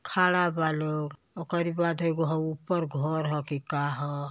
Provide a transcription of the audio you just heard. खड़ा बालों ओकारी बाद एगो हाऊ ऊपर घर ह की का ह।